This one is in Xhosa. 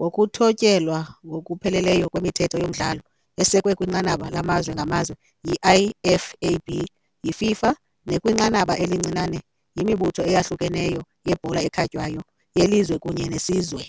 ngokuthotyelwa ngokupheleleyo kwemithetho yomdlalo, esekwe kwinqanaba lamazwe ngamazwe yi- IFAB, yiFIFA nakwinqanaba elincinane yimibutho eyahlukeneyo yebhola ekhatywayo yelizwe kunye neyesizwe.